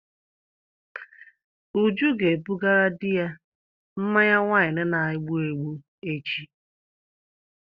Uju ga ebugara di ya mmanya waịnu na-egbụ egbụ echi.